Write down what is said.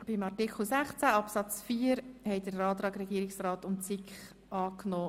Der Grosse Rat hat den Antrag SiK und Regierungsrat angenommen.